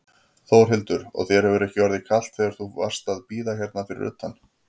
Þórhildur: Og þér hefur ekki orðið kalt þegar þú varst að bíða hérna fyrir utan?